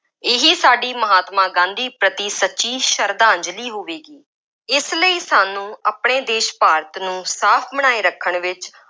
ਇਹੀ ਸਾਡੀ ਮਹਾਤਮਾ ਗਾਂਧੀ ਪ੍ਰਤੀ ਸੱਚੀ ਸਰਧਾਂਜ਼ਲੀ ਹੋਵੇਗੀ। ਇਸ ਲਈ ਸਾਨੂੰ ਆਪਣੇ ਦੇਸ਼ ਭਾਰਤ ਨੂੰ ਸਾਫ ਬਣਾਏ ਰੱਖਣ ਵਿੱਚ